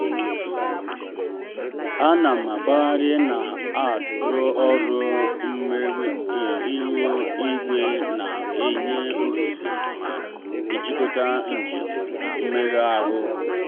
a na m agbagharị na-arụ ọrụ mgbe ihu igwe na-enye ohere na-ejikọta njem na mmega ahụ.